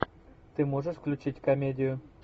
ты можешь включить комедию